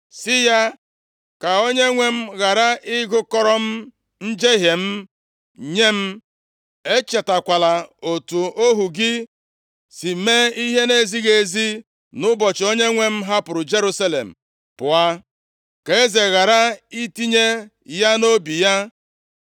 sị ya, “Ka Onyenwe m, ghara ịgụkọrọ m njehie m nye m. Echetakwala otu ohu gị si mee ihe nʼezighị ezi nʼụbọchị onyenwe m hapụrụ Jerusalem pụọ. Ka eze ghara itinye ya nʼobi ya,